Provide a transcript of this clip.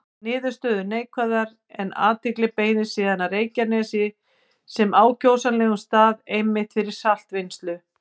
Niðurstöður neikvæðar, en athygli beindist síðan að Reykjanesi sem ákjósanlegum stað einmitt fyrir saltvinnslu.